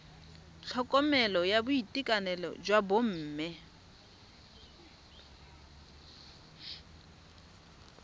tlhokomelo ya boitekanelo jwa bomme